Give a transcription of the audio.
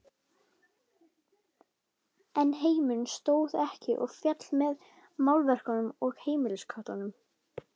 En heimurinn stóð ekki og féll með málverkum og heimilisköttum.